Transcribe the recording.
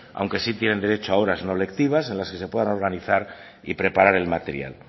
aunque sí tienen derecho a horas no lectivas en las que se puedan organizar y preparar el material